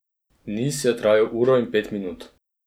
Niz je trajal uro in pet minut.